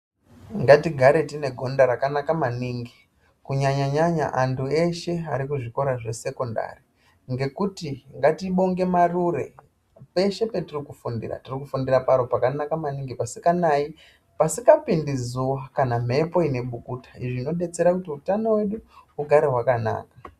Ngatigare tine gonda rakanaka maningi kunyanya nyanya antu eshe arikuzvikora zvesekondari ngekuti nngatibonge varure peshe patiri kufundira tirikufundire panhu pasinganai pasingapindi zuva kana mhepo inebukukuta zvinobetsra kuti hutano hwedu hugare hwakanaka.